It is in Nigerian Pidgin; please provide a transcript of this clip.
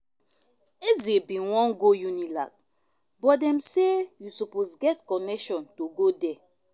eze bin wan go unilag but dem say you suppose get connection to go there